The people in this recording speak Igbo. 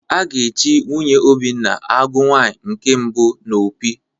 A ga-echi nwunye Obinna Agụ nwaanyi nke mbụ n'Opi